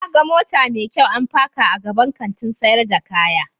Na gan mota mai kyau an paka a gaban Kantin sayar da kaya.